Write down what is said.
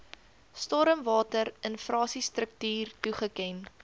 stormwater infrastruktuur toegeken